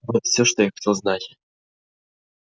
вот всё что я хотел знать